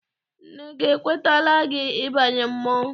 Nna gị ekwetala gị ịbanye mmọnwụ?